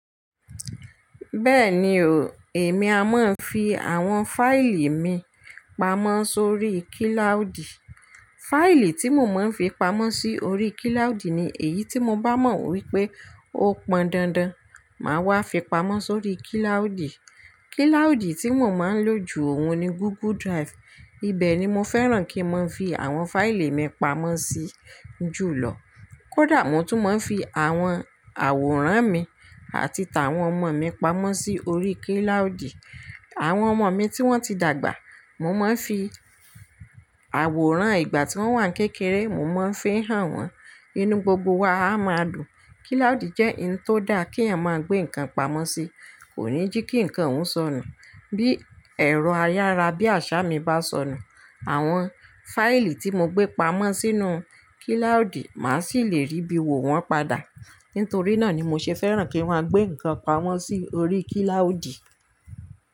Bẹ́ẹ̀ni o, èmi a máa ń fi àwọn fáìlì mi pamọ́ sórí kíláùdì. Fáìlì tí mo máa ń fi pamọ́ sí orí kíláùdì ni èyí tí mo bá mọ̀ wípé ó pọn dandan, màá wá fi pamọ́ sórí kíláùdì. Kíláùdì tí mo máa ń lò ju òun ni Google Drive, ibẹ̀ ni mo fẹ́ràn kí n máa fi àwọn fáìlì mi pamọ́ sí jùlọ. Kódà mo tún máa ń fi àwọn àwòrán mi àti ta wọn ọmọ mi pamọ́ sí orí kíláùdì. Àwọn ọmọ mi tí wọ́n ti dàgbà, mo máa ń fi àwòrán ìgbà tí wọ́n wà ní kékeré, mo mon ń fi hàn wọ́n. Inú gbogbo wa a máa dùn. Kíláùdì jẹ́ ohun tó dá kí eyan máa gbé nǹkan pamọ́ sí. Kò ní jí kí nǹkan óun sọnù. Bí ẹ̀rọ ayára bí àṣá mi bá sọnù, àwọn fáìlì tí mo gbé pamọ́ sínú kíláùdì, màá sì le rí bí wò wọ́n padà. Nítorí náà ni mo ṣe fẹ́ràn kí wọ́n gbé nǹkan pamọ́ sí orí kíláùdì.